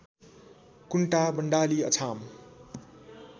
Kunta Bandali Achham